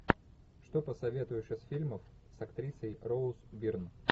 что посоветуешь из фильмов с актрисой роуз бирн